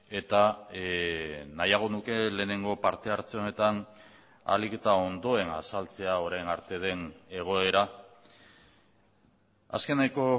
eta nahiago nuke lehenengo parte hartze honetan ahalik eta ondoen azaltzea orain arte den egoera azkeneko